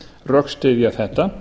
rökstyðja þetta